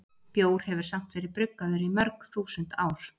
Bjór hefur samt verið bruggaður í mörg þúsund ár.